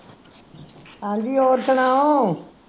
ਹਾਂਜੀ ਹੋਰ ਸੁਣਾਓ